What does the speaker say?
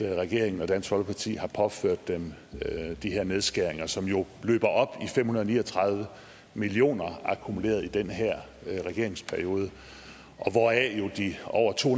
regeringen og dansk folkeparti har påført dem de her nedskæringer som jo løber op i fem hundrede og ni og tredive million kr akkumuleret i den her regerings periode hvoraf de over to